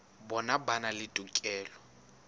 bona ba na le tokelo